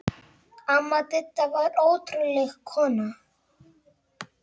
Amma Didda var ótrúleg kona.